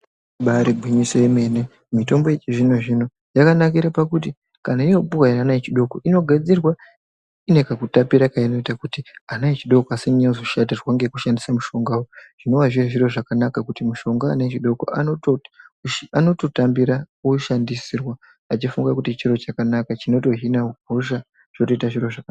Imbaari gwinyiso yemene, mitombo yechizvino-zvino yakanakira pakuti, kana yoopiwa ana echidoko inogadzirwa ine kakutapira keinoita, kuti ana echidoko asanyanya kuzoshatirwa ngekushandisa mushongawo. zvinowa zviri zviro zvakanaka kuti mushonga ana echidoko anototambira kuushandisirwa achifunga kuti chiro chakanaka, chinotohina hosha, zvotoita zviro zvakanaka.